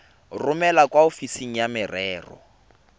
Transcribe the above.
romele kwa ofising ya merero